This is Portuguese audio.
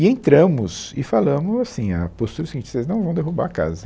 E entramos e falamos assim, a postura é o seguinte, vocês não vão derrubar a casa.